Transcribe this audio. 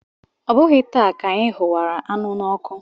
Ọ bụghị taa ka anyị hụwara anụ n'ọkụ.